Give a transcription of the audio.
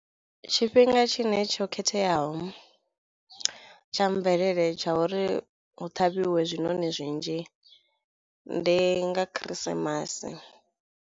Tshifhinga tshine tsho khetheaho tsha mvelele tsha uri hu ṱhavhiwe zwiṋoni zwinzhi ndi nga khirisimasi.